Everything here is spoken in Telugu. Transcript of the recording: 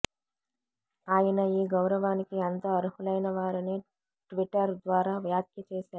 ఆయన ఈ గౌరవానికి ఎంతో అర్హులైనవారని ట్విటర్ ద్వారా వ్యాఖ్య చేశారు